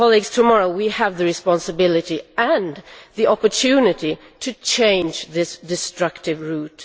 Tomorrow we will have the responsibility and the opportunity to change this destructive route.